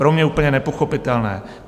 Pro mě úplně nepochopitelné.